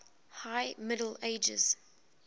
high middle ages